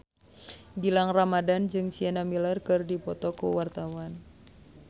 Gilang Ramadan jeung Sienna Miller keur dipoto ku wartawan